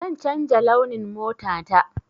Zan canja launin mota ta.